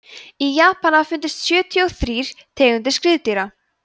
í japan hafa fundist sjötíu og þrír tegundir skriðdýra